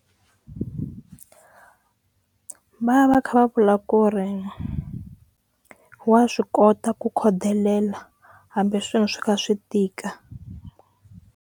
Va va kha va vula ku ri wa swi kota ku khodelela hambi swilo swi kha swi tika.